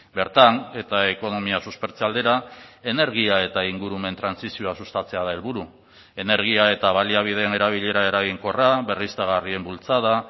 bertan eta ekonomia suspertze aldera energia eta ingurumen trantsizioa sustatzea da helburu energia eta baliabideen erabilera eraginkorra berriztagarrien bultzada